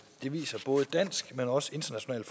det viser både dansk men også international